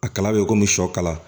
A kala bɛ komi sɔ kala